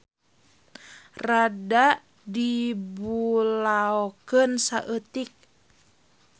Rada dibulaokeun saeutik.